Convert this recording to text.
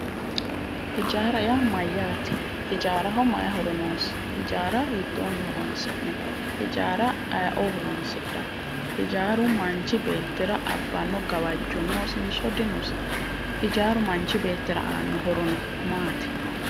Hijaara yaa mayyate? Hijaaraho mayi horo noosi ?hijaara hiitoonni horoonsi'nayi? hijaara ayioo horoonsidhawo? Hijaaru manchi beettira abbanno gawajjo noosinso dinosi ijaaru manchi beettira aannoha horo maati?